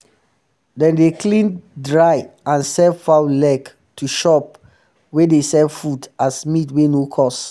dem dey clean dry and sell fowl leg to shop um wey um dey sell food as meat wey no cost